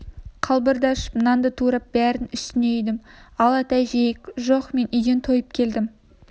қалбырды ашып нанды турап бәрін үстіне үйдім ал ата жейік жоқ мен үйден тойып келдім